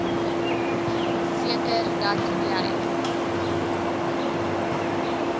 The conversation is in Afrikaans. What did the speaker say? seker dat jy